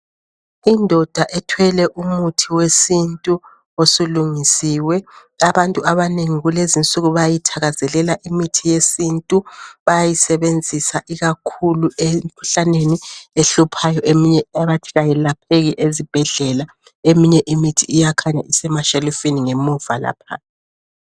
Indoda ethwele umuthi wesintu osulungisiwe. Abantu abanengi kulezinsuku bayayithakazelela imithi yesintu. Bayayisebenzisa ikakhulu emkhuhlaneni ehluphayo eminye abathi kayelapheki ezibhedlela. Eminye imithi iyakhanya isemashelifini ngemuva lapha.